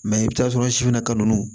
i bɛ t'a sɔrɔ sifinna ka nu